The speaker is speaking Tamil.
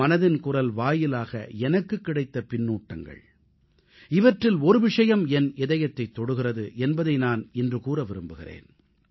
மனதின் குரல் வாயிலாக எனக்குக் கிடைத்த பின்னூட்டங்கள் இவற்றில் ஒரு விஷயம் என் இதயத்தைத் தொடுகிறது என்பதை நான் இன்று கூற விரும்புகிறேன்